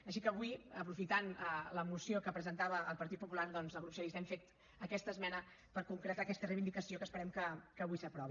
així que avui aprofitant la moció que presentava el partit popular doncs el grup socialista hem fet aquesta esmena per concretar aquesta reivindicació que esperem que avui s’aprovi